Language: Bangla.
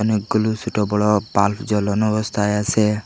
অনেকগুলু সোটো বড় বাল্ব জ্বলানো অবস্থায় আসে।